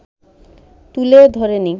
তুলে ধরেনি